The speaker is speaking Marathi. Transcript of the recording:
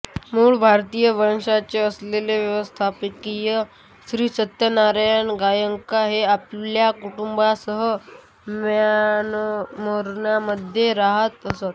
मूळ भारतीय वंशाचे असलेले व्यावसायिक श्री सत्यनारायण गोयंका हे आपल्या कुटुंबासह म्यानमारमध्ये राहत असत